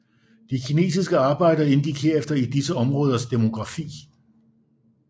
De kinesiske arbejdere indgik herefter i disse områders demografi